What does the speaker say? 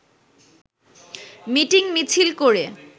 মিটিং-মিছিল করে